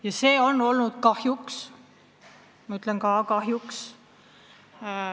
Ja see on olnud kahjuks – ma rõhutan, kahjuks!